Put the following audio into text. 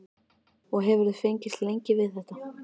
Og hefurðu fengist lengi við þetta?